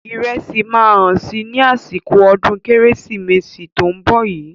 Ìrẹsì máa hán si ní àsìkò ọdún kérésìmesì tó ń bọ̀ yí.